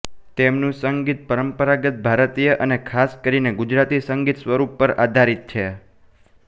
તેમનું સંગીત પરંપરાગત ભારતીય અને ખાસ કરીને ગુજરાતી સંગીત સ્વરૂપ પર આધારિત છે